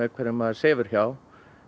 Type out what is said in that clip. hverjum maður sefur hjá